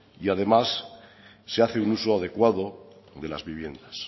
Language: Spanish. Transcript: y además se hace un uso adecuado de las viviendas